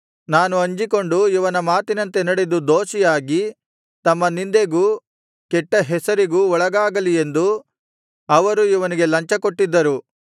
ನಾನು ಅಂಜಿಕೊಂಡು ಇವನ ಮಾತಿನಂತೆ ನಡೆದು ದೋಷಿಯಾಗಿ ತಮ್ಮ ನಿಂದೆಗೂ ಕೆಟ್ಟ ಹೆಸರಿಗೂ ಒಳಗಾಗಲಿ ಎಂದು ಅವರು ಇವನಿಗೆ ಲಂಚ ಕೊಟ್ಟಿದ್ದರು